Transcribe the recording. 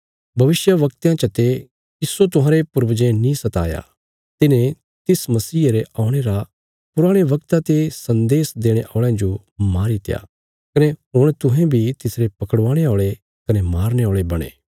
भविष्यवक्तयां चते किस्सो तुहांरे पूर्वजें नीं सताया तिन्हें तिस मसीहे रे औणे रा पुराणे बगता ते सन्देश देणे औल़यां जो मारीत्या कने हुण तुहें बी तिसरे पकड़वाणे औल़े कने मारने औल़े बणे